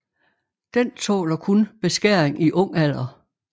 Den tåler kun beskæring i ung alder